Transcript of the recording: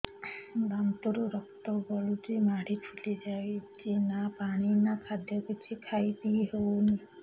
ଦାନ୍ତ ରୁ ରକ୍ତ ଗଳୁଛି ମାଢି ଫୁଲି ଯାଉଛି ନା ପାଣି ନା ଖାଦ୍ୟ କିଛି ଖାଇ ପିଇ ହେଉନି